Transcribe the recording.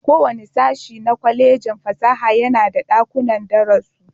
Kowane sashin na Kwallejin fasaha yana da dakunan darasu.